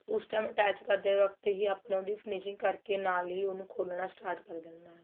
ਉਸ time attach ਕਰਦੇ ਵਕਤ ਹੀ ਆਪਾਂ ਨੇ ਉਹਦੀ finishing ਕਰ ਕੇ ਨਾਲ ਹੀ ਉਹਨੂੰ ਖੋਲਣਾ start ਕਰ ਦੇਣਾ ਨਾਲ